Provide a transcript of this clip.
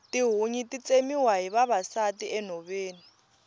tihunyi ti tsemiwa hi vavasati enhoveni